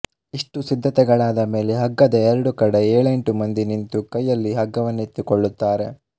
ಇಷ್ಟು ಸಿದ್ಧತೆಗಳಾದ ಮೇಲೆ ಹಗ್ಗದ ಎರಡು ಕಡೆ ಏಳೆಂಟು ಮಂದಿ ನಿಂತು ಕೈಯಲ್ಲಿ ಹಗ್ಗವೆನ್ನೆತ್ತಿಕೊಳ್ಳುತ್ತಾರೆ